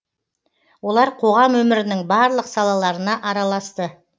олар қоғам өмірінің барлық салаларына араласты